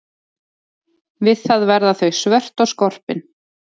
Við það verða þau svört og skorpin.